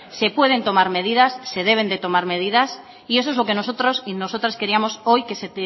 se pueden tomar medidas se deben de tomar medidas y eso es lo que nosotros y nosotras queríamos hoy que se